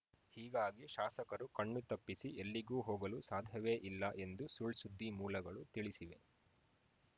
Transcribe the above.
ಹೀಗಾಗಿ ಶಾಸಕರು ಕಣ್ಣುತಪ್ಪಿಸಿ ಎಲ್ಲಿಗೂ ಹೋಗಲು ಸಾಧವೇ ಇಲ್ಲ ಎಂದು ಸುಳ್‌ಸುದ್ದಿ ಮೂಲಗಳು ತಿಳಿಸಿವೆ